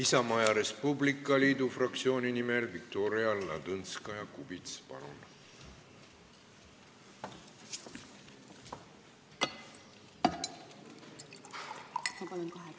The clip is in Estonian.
Isamaa ja Res Publica Liidu fraktsiooni nimel Viktoria Ladõnskaja-Kubits, palun!